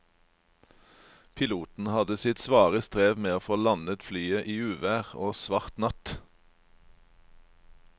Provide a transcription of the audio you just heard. Piloten hadde sitt svare strev med å få landet flyet i uvær og svart natt.